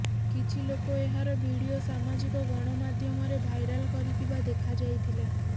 କିଛି ଲୋକ ଏହାର ଭିଡ଼ିଓ ସାମାଜିକ ଗଣମାଧ୍ୟମରେ ଭାଇରାଲ୍ କରିଥିବା ଦେଖାଯାଇଥିଲା